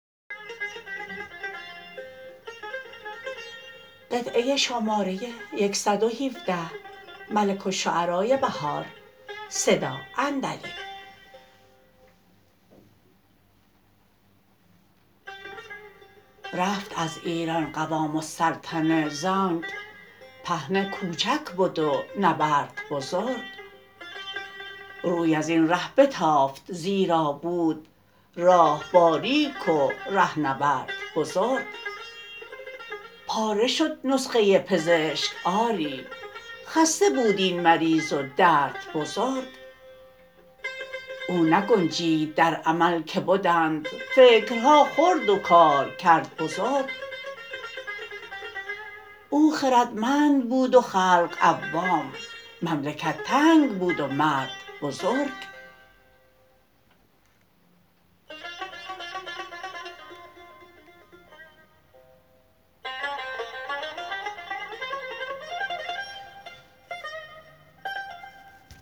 رفت از ایران قوام سلطنه زانک پهنه کوچک بد و نبرد بزرگ روی ازین ره بتافت زیرا بود راه باریک و ره نورد بزرگ پاره شد نسخه پزشک آری خسته بود این مریض و درد بزرگ او نگنجید در عمل که بدند فکرها خرد وکارکرد بزرگ او خردمند بود و خلق عوام مملکت تنگ بود و مرد بزرگ